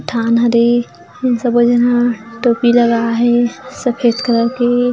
ठान ह दे अ इन शबे झन हा टोपी लगाए हे सफ़ेद कलर के --